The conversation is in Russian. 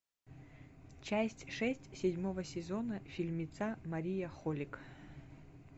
часть шесть седьмого сезона фильмеца мария холик